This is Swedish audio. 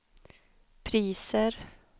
priser